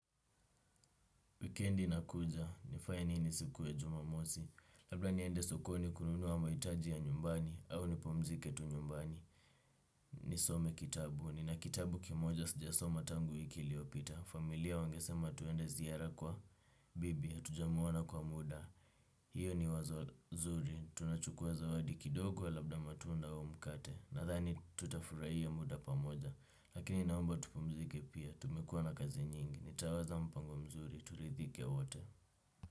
Wikendi inakuja, ni fanye nini siku ya jumamosi, labla niende sokoni kununuwa mahitaji ya nyumbani, au ni pumzike tu nyumbani. Ni some kitabu, ni na kitabu kimoja sijasoma tangu wiki iliopita. Familia wangesema twende ziara kwa bibi, hatujamuona kwa muda. Hiyo ni wazo nzuri, tunachukuwa zawadi kidogo, labda matunda au mkate. Nadhani tutafurahia muda pamoja, lakini naomba tupumzike pia, tumekuwa na kazi nyingi. Nitawaza mpango mzuri, turidhike wote.